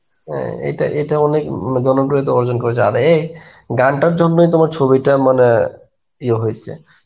হ্যাঁ, এটা এটা অনেক উম জনপ্রিয়তা অর্জন করেছে, আর এক গান টার জন্যই তোমার ছবিটা মানে ইয়ে হইসে.